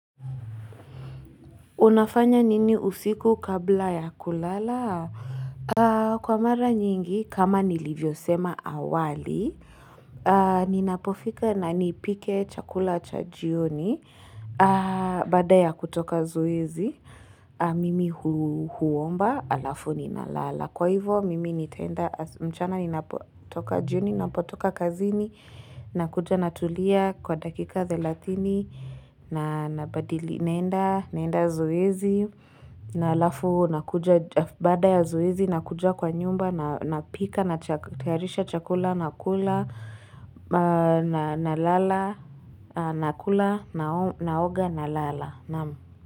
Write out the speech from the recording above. Unafanya nini usiku kabla ya kulala? Kwa mara nyingi, kama nilivyosema awali, ninapofika na nipike chakula cha jioni, baada ya kutoka zoezi, mimi huomba alafu ninalala. Kwa hivyo, mchana ninapotoka jioni, ninapotoka kazini, nakuja natulia kwa dakika thelatini, naenda zoezi na alafu baada ya zoezi nakuja kwa nyumba napika natayarisha chakula nakula nalala nakula naoga nalala.